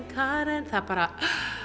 Karen það bara